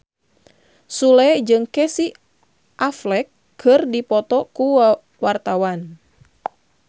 Sule jeung Casey Affleck keur dipoto ku wartawan